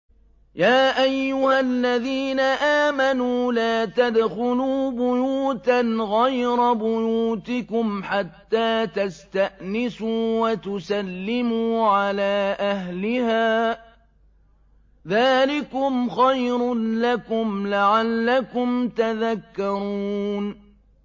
يَا أَيُّهَا الَّذِينَ آمَنُوا لَا تَدْخُلُوا بُيُوتًا غَيْرَ بُيُوتِكُمْ حَتَّىٰ تَسْتَأْنِسُوا وَتُسَلِّمُوا عَلَىٰ أَهْلِهَا ۚ ذَٰلِكُمْ خَيْرٌ لَّكُمْ لَعَلَّكُمْ تَذَكَّرُونَ